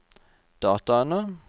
dataene